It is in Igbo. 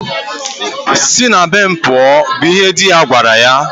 Si na be m pụọ! bụ ihe di ya gwara ya.